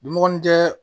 Dunmɔgɔnin tɛ